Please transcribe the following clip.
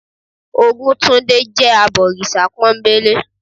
Ògúntúndé jé abọ̀rìṣà pónbélé